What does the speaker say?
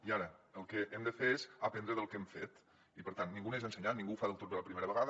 i ara el que hem de fer és aprendre del que hem fet i per tant ningú neix ensenyat ningú ho fa del tot bé la primera vegada